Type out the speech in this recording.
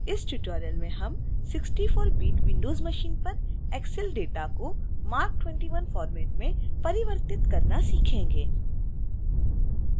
इस tutorial में हम64bit windows machine पर excel data को marc 21 format में परिवर्तित करना सीखेंगे